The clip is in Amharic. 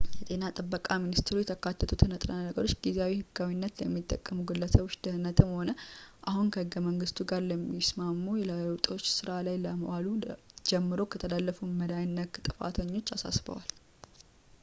የጤና ጥበቃ ሚኒስትሩ የተካተቱትን ንጥረ ነገሮች ጊዜያዊ ህጋዊነት ለሚጠቀሙ ግለሰቦች ደህንነትም ሆነ አሁን ከህገ-መንግስቱ ጋር የሚስማሙ ለውጦች ሥራ ላይ ከዋሉ ጀምሮ ለተላለፉት መድኃኒቶች-ነክ ጥፋተኞች አሳስበዋል